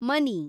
ಮನಿ